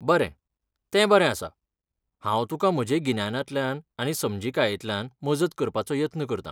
बरें, तें बरें आसा. हांव तुका म्हजे गिन्यानांतल्यान आनी समजिकायेंतल्यान मजत करपाचो यत्न करतां.